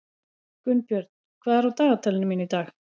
Gunnbjörn, hvað er á dagatalinu mínu í dag?